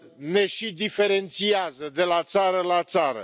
ne și diferențiază de la țară la țară.